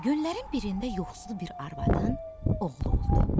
Günlərin birində yoxsul bir arvadın oğlu oldu.